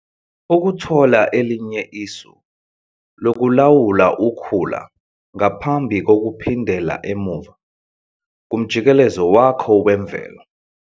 Ukuthola elinye isu lokulawula ukhula ngaphambi kokuphindela emuva kumjikelezo wakho wemvelo.